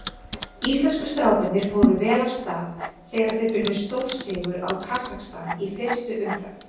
Íslensku strákarnir fóru vel af stað þegar þeir unnu stórsigur á Kasakstan í fyrstu umferð.